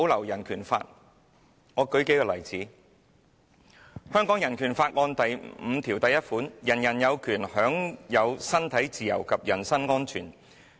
讓我舉數個例子，香港人權法案第五條第一款："人人有權享有身體自由及人身安全。